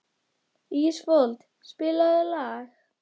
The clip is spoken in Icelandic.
Ísfold, spilaðu lag.